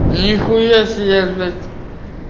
нихуя себе блять